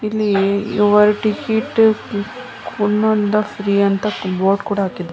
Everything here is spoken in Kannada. ಇಲ್ಲಿ ಯುವರ್ ಟಿಕೆಟ್ ಫ್ರೀ ಅಂತ ಬೋರ್ಡ್ ಕೂಡ ಹಾಕಿದ್ದಾರೆ.